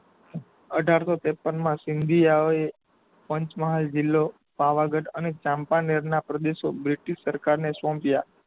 અઢારશો ત્રેપન માં સિંધિયા ઓએ પંચમહાલ જિલ્લો પાવાગઢ અને ચાંપાનેરના પ્રદેશો બ્રિટિસ્ટ સરકાર ને સોપ્યાં.